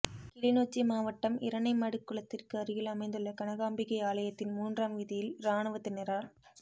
கிளிநொச்சி மாவட்டம் இரணைமடுக் குளத்திற்கு அருகில் அமைந்துள்ள கனகாம்பிகை ஆலயத்தின் மூன்றாம் வீதியில் இராணுவத்தினரால்